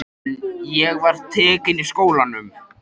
En ég var tekin í skólann.